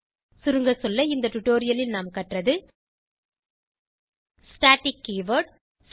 சுருங்கசொல்ல இந்த டுடோரியலில் நாம் கற்றது ஸ்டாட்டிக் கீவர்ட்